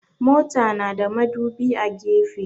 Mota na da madubi a gefe.